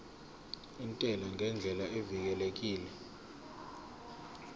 intela ngendlela evikelekile